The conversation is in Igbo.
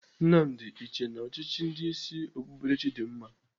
Nnamdi, ị chee na ọchịchị ndị isi okpukperechi dị mma?